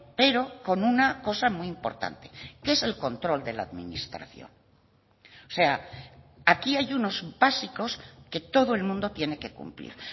pero con una cosa muy importante que es el control de la administración o sea aquí hay unos básicos que todo el mundo tiene que cumplir